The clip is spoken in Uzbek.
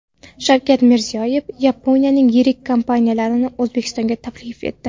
Shavkat Mirziyoyev Yaponiyaning yirik kompaniyalarini O‘zbekistonga taklif etdi.